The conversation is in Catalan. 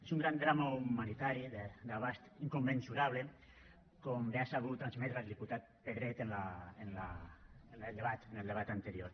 és un gran drama humanitari d’abast incommensurable com bé ha sabut transmetre el diputat pedret en el debat anterior